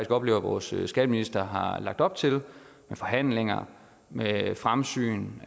oplever at vores skatteminister har lagt op til med forhandlinger med fremsyn